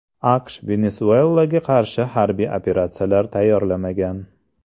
AQSh Venesuelaga qarshi harbiy operatsiyalar tayyorlamagan.